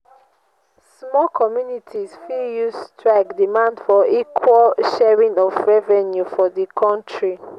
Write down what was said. small communities fit use strike demand for equal sharing of revenue for di counrty